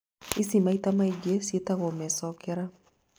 ici maita maingĩ ciĩtagwo mecokera